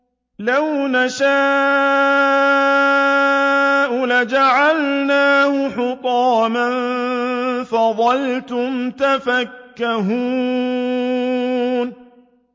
لَوْ نَشَاءُ لَجَعَلْنَاهُ حُطَامًا فَظَلْتُمْ تَفَكَّهُونَ